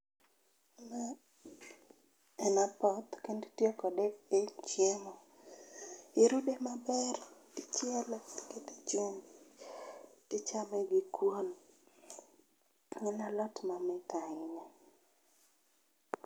ma en apoth kendo itiyo kode e chiemo, irude maber ichiele ikete chumbi tichame gi kuon ,en alot mamit ahinya